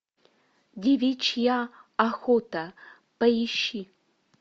девичья охота поищи